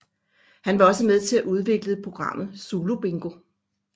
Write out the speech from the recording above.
Han var også med til at udvikle programmet Zulu Bingo